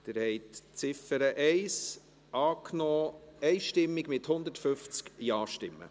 Sie haben Ziffer 1 dieser Motion einstimmig angenommen, mit 150 Ja-Stimmen.